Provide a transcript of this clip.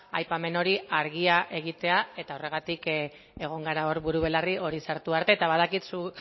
aipamen hori argia egitea eta horregatik egon gara hor buru belarri hori sartu arte eta badakit